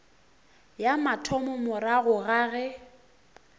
ya mathomo morago ga ge